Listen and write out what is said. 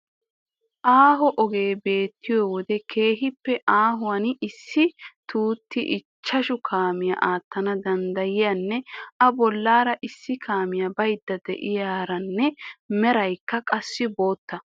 Aaho ogee beettiyo wode keehippe aahonne issi tutti ichchashu kaamiya aattana danddayiyanne A bollaara issi kaamiya baydda de'iyaranne meraykka qassi bootta.